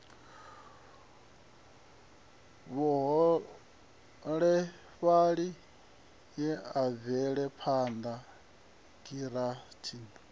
vhuholefhali ye ya bvelaphanda giranthi